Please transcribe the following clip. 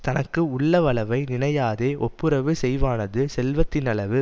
தனக்கு உள்ளவளவை நினையாதே ஒப்புரவு செய்வானது செல்வத்தினளவு